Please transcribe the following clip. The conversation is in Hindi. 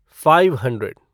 five hundred